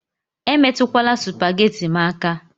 Emetukwala supagheti m aka